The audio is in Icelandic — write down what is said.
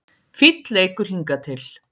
Fínn leikur hingað til